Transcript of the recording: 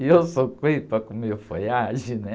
E eu sou coelho para comer folhagem, né?